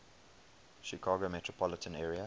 chicago metropolitan area